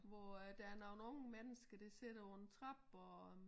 Hvor øh der er nogen unge mennsker der sidder på en trappe og